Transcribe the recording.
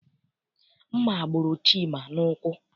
Mma gburu Chima n'ụkwụ.